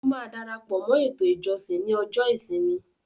Ó máa darapọ̀ mọ́ “ ètò ìjọsìn” ní ọjọ́ ìsinmi.